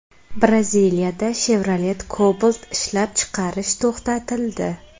Braziliyada Chevrolet Cobalt ishlab chiqarish to‘xtatildi.